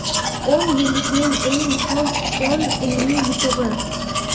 O‘n yillikning eng muhim o‘n ilmiy yutug‘i.